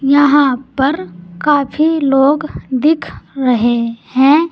यहां पर काफी लोग दिख रहे हैं।